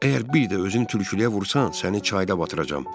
Əgər bir də özünü tülkülüyə vursan, səni çayda batıracam.